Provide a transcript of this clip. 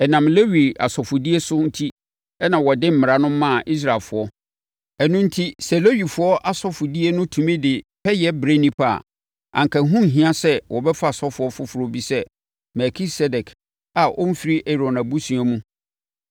Ɛnam Lewi asɔfodie so enti na wɔde Mmara no maa Israelfoɔ. Ɛno enti sɛ Lewifoɔ asɔfodie no tumi de pɛyɛ brɛ nnipa a, anka ɛho nhia sɛ wɔbɛfa ɔsɔfoɔ foforɔ bi sɛ Melkisedek a ɔmfiri Aaron abusua mu.